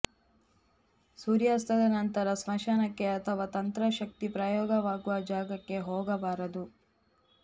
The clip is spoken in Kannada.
ಸೂರ್ಯಾಸ್ತದ ನಂತರ ಸ್ಮಶಾನಕ್ಕೆ ಅಥವಾ ತಂತ್ರ ಶಕ್ತಿ ಪ್ರಯೋಗವಾಗುವ ಜಾಗಕ್ಕೆ ಹೋಗಬಾರದು